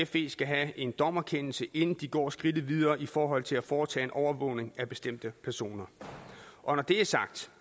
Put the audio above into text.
fe skal have en dommerkendelse inden de går skridtet videre i forhold til at foretage en overvågning af bestemte personer når det er sagt